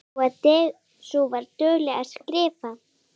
Sú var dugleg að skrifa.